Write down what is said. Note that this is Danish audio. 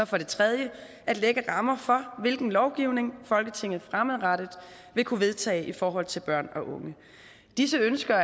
for det tredje at sætte rammer for hvilken lovgivning folketinget fremadrettet vil kunne vedtage i forhold til børn og unge disse ønsker